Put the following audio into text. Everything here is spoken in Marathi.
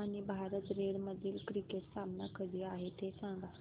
आणि भारत रेड मधील क्रिकेट सामना कधी आहे ते सांगा